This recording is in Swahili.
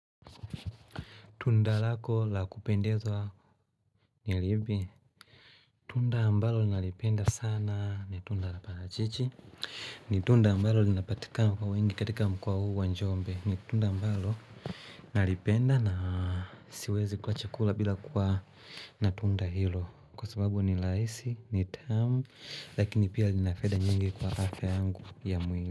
Tunda lako la kupendezwa ni lipi? Tunda ambalo nalipenda sana ni tunda la parachichi ni tunda ambalo linapatikana kwa wingi katika mkoa huu wa Njombe, ni tunda ambalo nalipenda na siwezi kula chakula bila kuwa na tunda hilo Kwa sababu ni rahiisi, ni tamu lakini pia lina faida nyingi kwa afya yangu ya mwili.